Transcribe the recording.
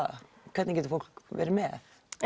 hvernig getur fólk verið með